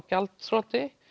gjaldþroti